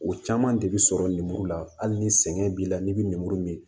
O caman de bi sɔrɔ lemuru la hali ni sɛgɛn b'i la n'i be lemuru min